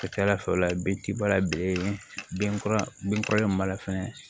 Ka ca ala fɛ o la den ti bala bilen kɔrɔlen min b'a la fɛnɛ